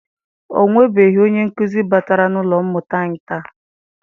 Ọ nwebeghị onye nkụzi batara n'ụlọ mmụta anyi taa.